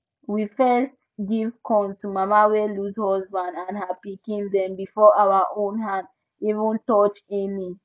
we first give corn to mama wey lose husband and her pikin dem before our own hand even touch any